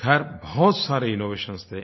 ख़ैर बहुत सारे इनोवेशंस थे